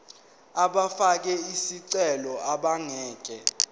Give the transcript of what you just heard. abafake izicelo abangeke